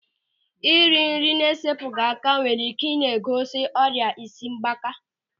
Ịri nri na-esepụghị aka nwere ike ị na-egosi ọrịa isi mgbaaka.